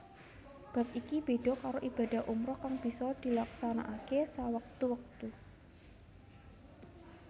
Bab iki béda karo ibadah umrah kang bisa dilaksanakaké sawektu wektu